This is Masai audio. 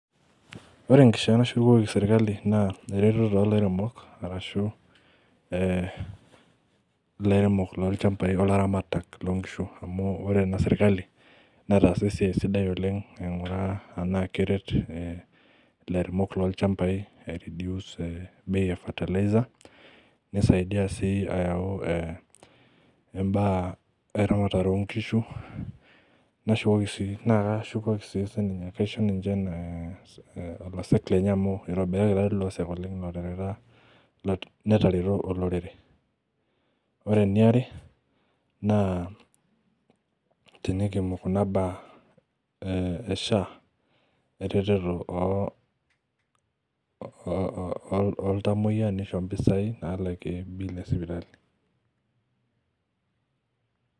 Ore enkishaa nashukoki serkali na eretoto olairemok ashu laremok lolchambai ashu laramatak lonkishu amu ore enaserkali netaasa esiaia sidai oleng ainguraa anaa keret lairemok lolchambai anaa aireduce fertiliser nisaidi ayau mbaa eramatare onkishu na kaisho ninche olosek netareto olorere ore eniare na eimu kuna baa esha eretoto oltamoyia nisho mpisai nalakie bill esipitali.